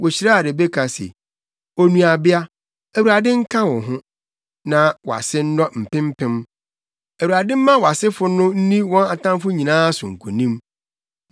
Wohyiraa Rebeka se, “Onuabea, Awurade nka wo ho, na wʼase nnɔ mpempem! Awurade mma wʼasefo no nni wɔn atamfo nyinaa so nkonim.”